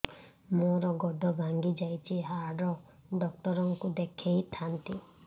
ମୋର ଗୋଡ ଭାଙ୍ଗି ଯାଇଛି ହାଡ ଡକ୍ଟର ଙ୍କୁ ଦେଖେଇ ଥାନ୍ତି